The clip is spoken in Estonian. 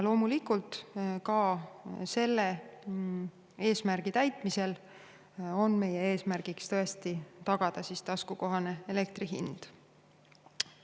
Loomulikult, ka selle eesmärgi täitmiseks tuleb tõesti tagada taskukohane elektri hind.